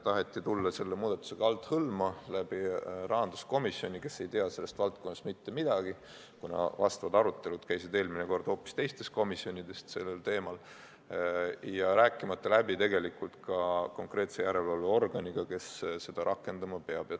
Taheti tulla selle muudatusega althõlma, rahanduskomisjoni kaudu, kes ei tea sellest valdkonnast mitte midagi, kuna arutelud sellel teemal käisid eelmine kord hoopis teistes komisjonides, ja rääkimata läbi ka järelevalveorganiga, kes seda rakendama peab.